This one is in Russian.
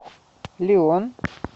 лион